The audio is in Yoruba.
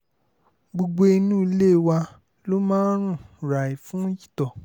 gbogbo inú ilé wa ló mà rún ràì fún itọ́